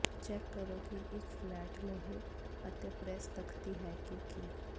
check ਕਰੋ ਕਿ ਇੱਕ ਫਲੈਟ ਲੋਹੇ ਅਤੇ ਪ੍ਰੈੱਸ ਤਖਤੀ ਹੈ ਕਿ ਕੀ